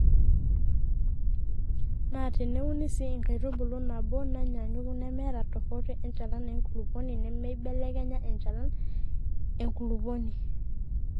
Naa teneuni sii enkaitubului nabo naanyaanyuk nemeeta tofauti enchalan enkulupuoni meibelekenya enchalan enkulupuoni.